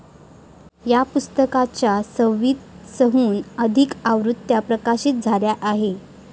या पुस्तकाच्या सव्वीसहून अधिक आवृत्त्या प्रकाशित झाल्या आहेत.